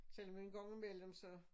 Selvom en gang i mellem så